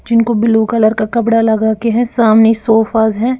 जिनको blue colour का कपड़ा लगा के हैं सामने सोफाज़ हैं।